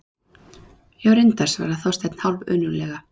Já, reyndar- svaraði Þorsteinn hálfönuglega.